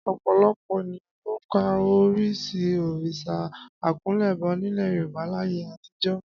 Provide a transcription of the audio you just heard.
Ọ̀pọ̀lọpọ̀ ènìyàn ló ka orí sí òrìṣà àkúnlẹ̀bọ nílẹ̀ Yorùbá láyé àtijó